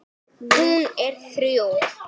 Hún er þrjú.